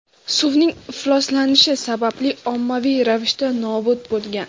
suvning ifloslanishi sababli ommaviy ravishda nobud bo‘lgan.